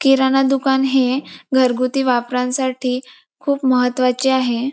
किराणा दुकान हे घरगुती वापरांसाठी खूप महत्वाचे आहे.